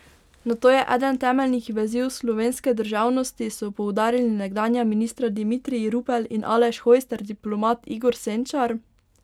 Nato je eden temeljnih veziv slovenske državnosti, so poudarili nekdanja ministra Dimitrij Rupel in Aleš Hojs ter diplomat Igor Senčar.